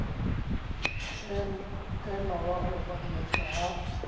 ema wa opa diatla ha